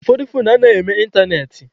Ụfọdụ foonu anaghị eme ịntanetị.